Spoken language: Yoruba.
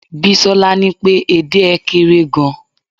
bisola ni pe ede é kere gan